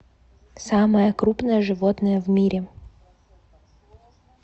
самое крупное животное в мире